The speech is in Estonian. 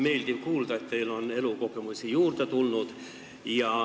Meeldiv kuulda, et teile on elukogemusi juurde tulnud.